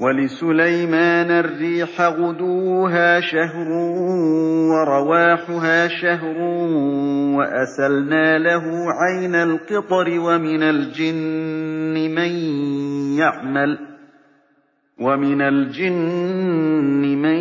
وَلِسُلَيْمَانَ الرِّيحَ غُدُوُّهَا شَهْرٌ وَرَوَاحُهَا شَهْرٌ ۖ وَأَسَلْنَا لَهُ عَيْنَ الْقِطْرِ ۖ وَمِنَ الْجِنِّ مَن